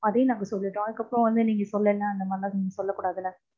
அதையும் நாங்க சொல்லிறோம். அதுக்கு அப்புறம் வந்து நீங்க சொல்லல அந்த மாதிரிலாம் நீங்க சொல்லக்கூடாதுல.